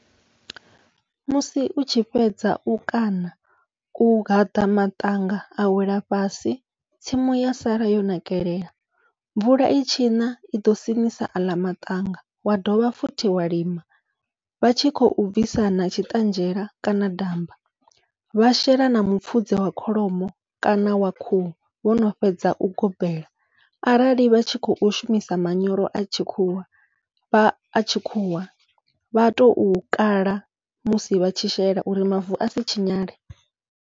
Musi utshi fhedza u kaṋa u haḓa maṱangwa awela fhasi tsimu ya sala yo nakelela, mvula itshi na iḓo siṋisa aḽa maṱanga wa dovha futhi wa lima vhatshi khou bvisa na tshiṱadzhela kana damba, vha shela na mupfhudze wa kholomo kana wa khuhu vhono fhedza u gobela arali vhatshi khou shumisa manyoro a tshikhuwa vha a tshikhuwa vha tou kala musi vhatshi shela uri mavu asi tshinyale.